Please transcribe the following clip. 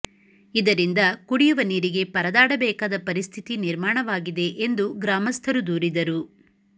ಇದರಿಂದ ಕುಡಿಯುವ ನೀರಿಗೆ ಪರದಾಡಬೇಕಾದ ಪರಿಸ್ಥಿತಿ ನಿರ್ಮಾಣವಾಗಿದೆ ಎಂದು ಗ್ರಾಮಸ್ಥರು ದೂರಿದರು